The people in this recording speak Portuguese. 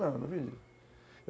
Não, não vendi.